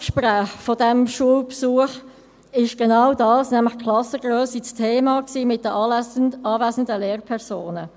Beim Nachgespräch dieses Schulbesuchs war genau dies, nämlich die Klassengrösse, das Thema bei den anwesenden Lehrpersonen.